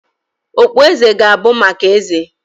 Okpueze ga-abụ maka Eze